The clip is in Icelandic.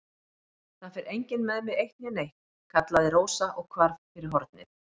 Það fer enginn með mig eitt né neitt, kallaði Rósa og hvarf fyrir hornið.